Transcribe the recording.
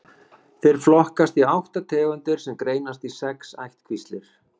Þeir flokkast í átta tegundir sem greinast í sex ættkvíslir.